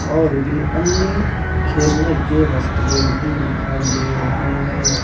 और भी अन्य खेलने के वस्तुएं भी दिखाई दे रही है।